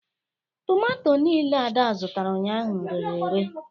Tomato niile Ada zụtara ụnyaahụ rere ere